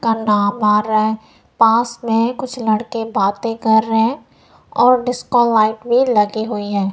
करना पाराय पास में कुछ लड़के बातें कर रहे हैं और डिस्को लाइट भी लगी हुई है।